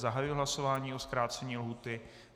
Zahajuji hlasování o zkrácení lhůty.